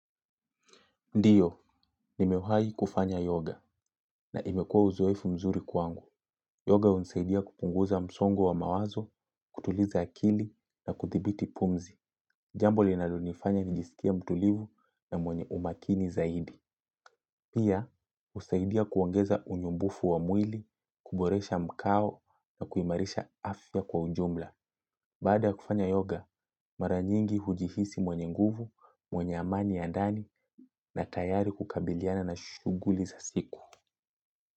Ndiyo, nimewahi kufanya yoga na imekua uzoevu mzuri kwangu. Yoga unisaidia kupunguza msongo wa mawazo, kutuliza akili na kuthibiti pumzi. Jambo linalonifanya nijisikie mtulivu na mwenye umakini zaidi. Pia, usaidia kuongeza unyumbufu wa mwili, kuboresha mkao na kuimarisha afya kwa ujumla. Baada ya kufanya yoga, maranyingi hujihisi mwenye nguvu, mwenye amani ya ndani na tayari kukabiliana na shughuli za siku.